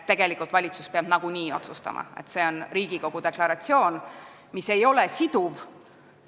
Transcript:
Valitsus peab nagunii otsustama, aga see on Riigikogu deklaratsioon, mis ei ole siduv.